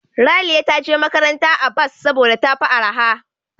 Raliya ta je makaranta a bas saboda tafi arha.